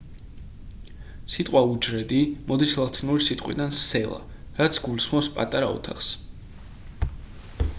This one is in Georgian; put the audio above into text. სიტყვა უჯრედი მოდის ლათინური სიტყვიდან cella რაც გულისხმობს პატარა ოთახს